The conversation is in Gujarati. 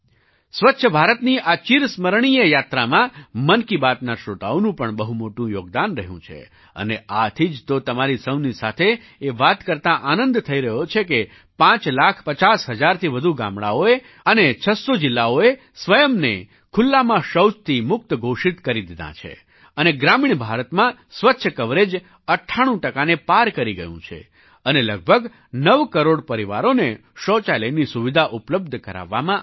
સ્વચ્છ ભારતની આ ચિરસ્મરણીય યાત્રામાં મન કી બાત ના શ્રોતાઓનું પણ બહુ મોટું યોગદાન રહ્યું છે અને આથી જ તો તમારી સહુની સાથે એ વાત કરતા આનંદ થઈ રહ્યો છે કે પાંચ લાખ પચાસ હજારથી વધુ ગામડાંઓએ અને 600 જિલ્લાઓએ સ્વયંને ખુલ્લામાં શૌચથી મુક્ત ઘોષિત કરી દીધાં છે અને ગ્રામીણ ભારતમાં સ્વચ્છતા કવરેજ 98 ને પાર કરી ગયું છે અને લગભગ નવ કરોડ પરિવારોને શૌચાલયની સુવિધા ઉપલબ્ધ કરાવવામાં આવી છે